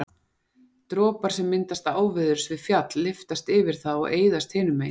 dropar sem myndast áveðurs við fjall lyftast yfir það og eyðast hinu megin